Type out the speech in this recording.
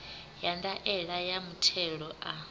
ya ndaela ya muthelo a